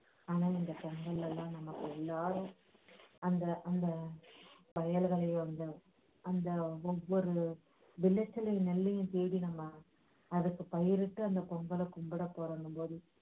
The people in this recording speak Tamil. ஆனால் இந்த சென்னையிலெல்லாம் நம்ம எல்லாரும் அந்த அந்த வயல்களில் அந்த அந்த ஒவ்வொரு விளைச்சலையும் நெல்லையும் தேடி நம்ம அதுக்கு பயிரிட்டு அந்த பொங்கலை கும்பிட போறோங்கும்போது